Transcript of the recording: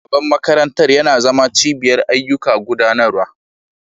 Ofishin shugaban makarantar yana zama cibiyar ayyukan gudanarwa.